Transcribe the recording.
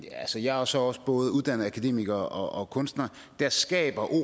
jeg er så også både uddannet akademiker og kunstner skaber